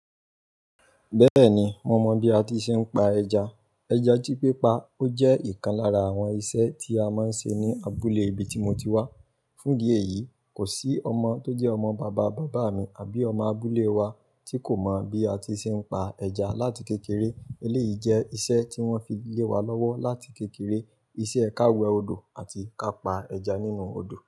Bẹ́ẹ̀ni, mo mọ bí a ti ṣe ń pa ẹja. Ẹja tí pípa ó jẹ́ ìkan lára àwọn iṣẹ́ tí a máa ń ṣe ní abúlé ibi tí mo ti wá. Fún di èyí, kò sí ọmọ tó jẹ́ ọmọ bàbá bàbá mi àbí ọmọ abúlé wa tí kò mọ̀ bí a ti ṣe ń pa ẹja láti kékeré. Eléyìí jẹ́ iṣẹ́ tí wọ́n fi lé wa lọ́wọ́ láti kékeré, iṣẹ́ ka wẹ́ odò àti ka pa ẹja nínú odò.